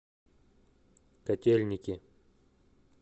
котельники